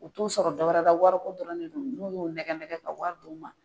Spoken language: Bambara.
U t'u sɔrɔ dɔ wɛrɛ la ,wariko dɔrɔn ne don, n'u y'o nɛgɛ nɛgɛ ka wari d'u ma